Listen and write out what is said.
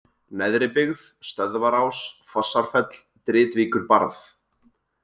Neðribyggð, Stöðvarás, Fossarfell, Dritvíkurbarð